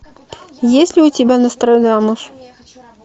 есть ли у тебя нострадамус